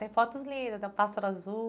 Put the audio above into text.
Tem fotos lindas, tem o pássaro azul.